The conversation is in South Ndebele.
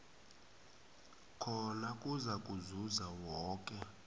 khona kuzakuzuza woke